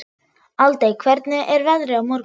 Aldey, hvernig er veðrið á morgun?